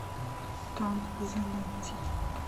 том занетти